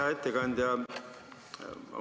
Hea ettekandja!